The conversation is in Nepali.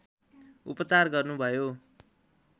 उपचार गर्नुभयो